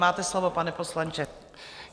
Máte slovo, pane poslanče.